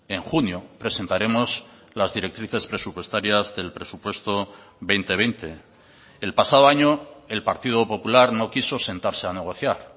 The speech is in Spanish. en junio presentaremos las directrices presupuestarias del presupuesto dos mil veinte el pasado año el partido popular no quiso sentarse a negociar